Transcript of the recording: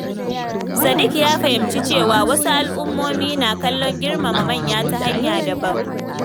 Sadiq ya fahimci cewa wasu al'ummomi na kallon girmama manya ta hanya daban.